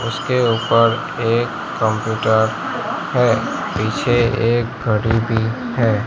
उसके उपर एक कंप्यूटर है। पीछे एक घड़ी भी है।